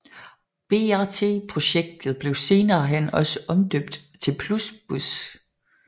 BRT projektet blev senere hen også omdøbt til Plusbus